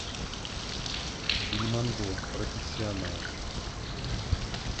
бельмондо профессионал